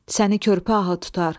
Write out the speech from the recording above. Səni körpə ahı tutar.